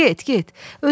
Get, get!